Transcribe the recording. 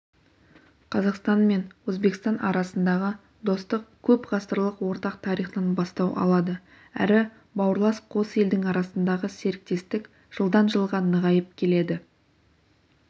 қазақстан мен өзбекстан арасындағы достық көп ғасырлық ортақ тарихтан бастау алады әрі бауырлас қос елдің арасындағы серіктестік жылдан жылға нығайып келеді